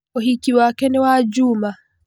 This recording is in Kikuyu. ũhiki wake nĩ wa njuma.